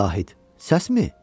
Zahid, səsmi?